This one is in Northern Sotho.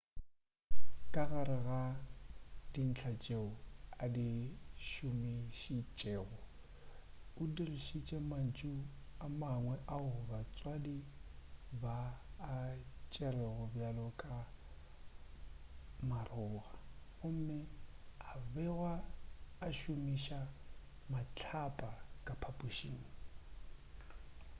ka gare ga dintlha tšeo a di šomišitšego o dirišitše mantšu a mangwe ao batswadi ba a tšerego bjalo ka maroga gomme o begwa a šomiša mahlapa ka phaphušing